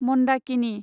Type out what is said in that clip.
Mandakini